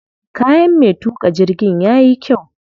Kayan me tuƙa jirgin yayi kyau sosai.